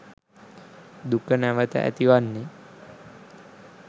දුක නැවැත ඇතිවන්නේ